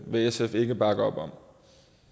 vil sf ikke bakke op om